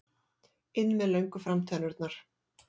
inn með löngu framtennurnar.